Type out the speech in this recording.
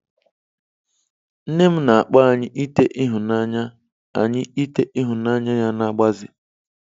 Nne m na-akpọ anyị ite ịhụnanya anyị ite ịhụnanya ya na-agbaze.